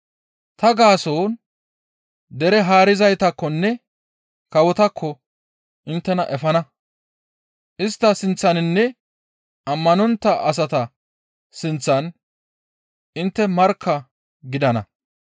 Ta gaason dere haarizaytakkonne kawotakko inttena efana; istta sinththaninne ammanontta asata sinththan intte markka gidana.